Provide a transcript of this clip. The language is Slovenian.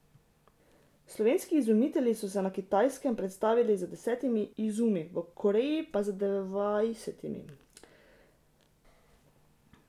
Slovenski izumitelji so se na Kitajskem predstavili z desetimi izumi, v Koreji pa z dvajsetimi.